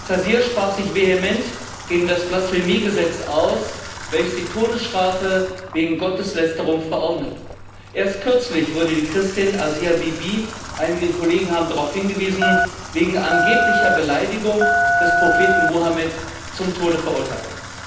Taseer sprach sich vehement gegen das Blasphemiegesetz aus, welches die Todesstrafe wegen Gotteslästerung verordnet. Erst kürzlich wurde die Christin Asia Bibi einige Kollegen haben darauf hingewiesen wegen angeblicher Beleidigung des Propheten Mohammed zum Tode verurteilt.